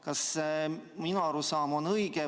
Kas minu arusaam on õige?